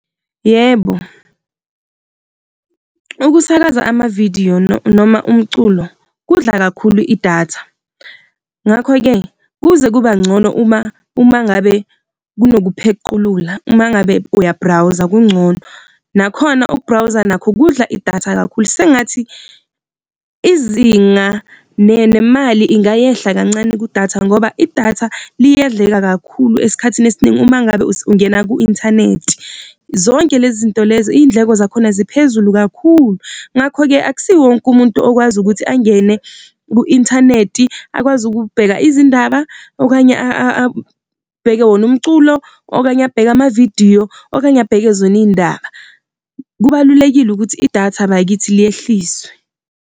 Yebo, ukusakaza ama-vidiyo noma umculo kudla kakhulu idatha, ngakho-ke kuze kuba ngcono uma ngabe kunokuphequlula uma ngabe uya-browser kungcono. Nakhona uku-browser nakhu kudla idatha kakhulu, sengathi izinga nemali ingayehla kancane kudatha, ngoba idatha liyadleka kakhulu. Esikhathini esiningi uma ngabe ungena ku-inthanethi. Zonke lezinto lezi iy'ndleko zakhona ziphezulu kakhulu, ngakho-ke akusiwo wonke umuntu okwazi ukuthi angene ku-inthanethi, akwazi ukubheka izindaba okanye abheke wona umculo, okanye abheka ama-vidiyo, okanye abheke zona iy'ndaba. Kubalulekile ukuthi idatha bakithi liyehliswe.